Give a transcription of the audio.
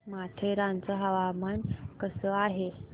माथेरान चं हवामान कसं आहे